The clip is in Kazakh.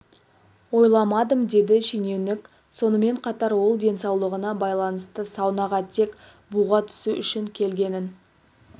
ойламадым деді шенеунік сонымен қатар ол денсаулығына байланысты саунаға тек буға түсу үшін келгенін